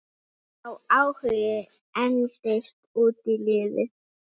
Sá áhugi entist út lífið.